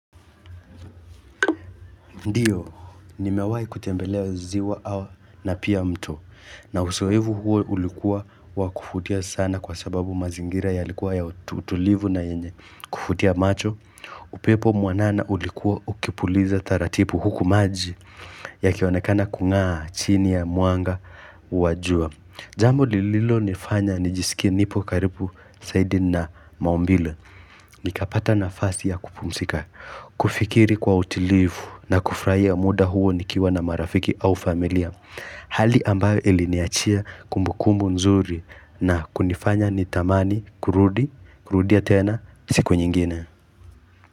Ndio, nimewai kutembelea ziwa na pia mto. Na usoevu huo ulikuwa wakufutia sana kwa sababu mazingira ya likuwa ya utulivu na yenye. Kufutia macho, upepo mwanana ulikuwa ukipuliza taratipu huku maji ya kionekana kungaa chini ya mwanga wa jua. Jambo lililo nifanya nijisikie nipo karipu saidi na maumbile. Nikapata nafasi ya kupumsika, kufikiri kwa utilifu na kufraia muda huo nikiwa na marafiki au familia. Hali ambayo iliniachia kumbukumbu nzuri na kunifanya nitamani kurudi, kurudia tena siku nyingine.